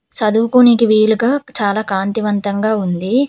చదువుకోనికి వీలుగా చాలా కాంతివంతంగా ఉంది.